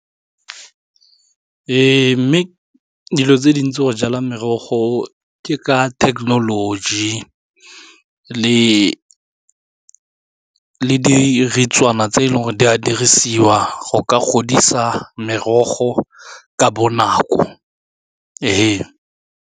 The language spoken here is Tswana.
Ee, mme dilo tse dintsi go jala merogo ke ka thekenoloji le tse e leng gore di a dirisiwa go ka godisa merogo ka bonako.